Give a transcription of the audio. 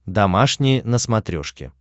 домашний на смотрешке